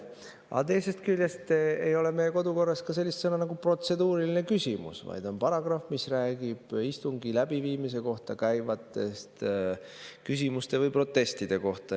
Aga teisest küljest ei ole meie kodukorras ka sellist nagu "protseduuriline küsimus", vaid on paragrahv, mis räägib istungi läbiviimise kohta käivatest küsimustest või protestidest.